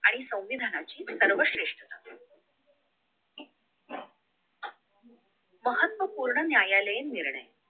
आणि संविधानाची सर्वश्रेष्ठता महत्व पूर्ण न्यायालयीन